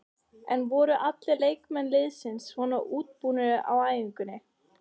En voru allir leikmenn liðsins svona útbúnir á æfingunni?